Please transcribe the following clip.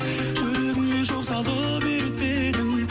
жүрегіме жол салып еліктедің